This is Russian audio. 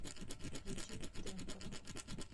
включи темпорал